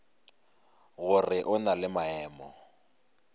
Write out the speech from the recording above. gore o na le maemo